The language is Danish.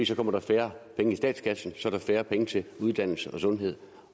så kommer der færre penge i statskassen så er der færre penge til uddannelse og sundhed